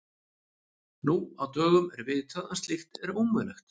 Nú á dögum er vitað að slíkt er ómögulegt.